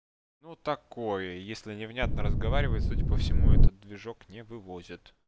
ну такое если невнятно разговаривает судя по всему этот движок не вывозят